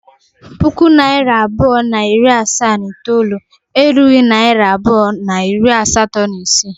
puku naira abụọ na iri asaa na itoolu erughị naịra abụọ na iri asatọ na isii.